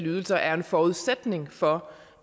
ydelser er en forudsætning for